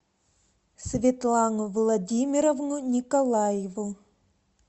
светлану владимировну николаеву